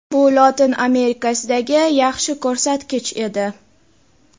Bu Lotin Amerikasidagi yaxshi ko‘rsatkich edi.